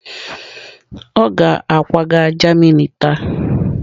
Ọ ga-akwaga Germany taa.